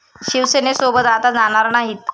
शिवसेनेसोबत आता जाणार नाहीत.